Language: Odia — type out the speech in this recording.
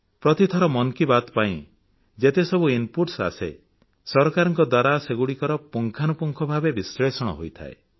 ପ୍ରତିଥର ମନ କି ବାତ୍ ପାଇଁ ଯେତେ ସବୁ ଇନପୁଟ ଆସେ ସରକାରଙ୍କ ଦ୍ୱାରା ସେଗୁଡ଼ିକର ପୁଙ୍ଖାନୁପୁଙ୍ଖ ଭାବେ ବିଶ୍ଲେଷଣ ହୋଇଥାଏ